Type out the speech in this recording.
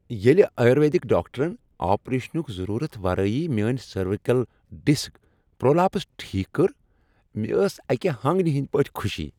ییٚلہ آیورویدک ڈاکٹرن آپریشنک ضرورت ورٲیۍ میٲنۍ سروائیکل ڈسک پرولاپس ٹھیک کٔر، مےٚ ٲس اکہ ہٲنگنیہ ہندۍ پٲٹھۍ خوشی۔